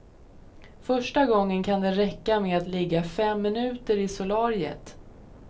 Första gången kan det räcka med att ligga fem minuter i solariet.